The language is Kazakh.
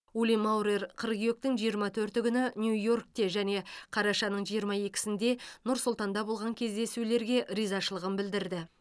ули маурер қыркүйектің жиырма төрті күні нью йоркте және қарашаның жиырма екісінде нұр сұлтанда болған кездесулерге ризашылығын білдірді